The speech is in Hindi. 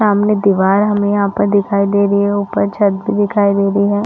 सामने दिवार हमें यहाँ पर दिखाई दे रही है ऊपर छत दिखाई दे रही है।